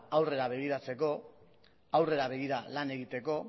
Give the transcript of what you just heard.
aurrera begiratzeko aurrera begira lan egiteko